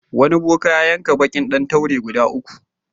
Wani boka ya yanka baƙin ɗan taure guda uku.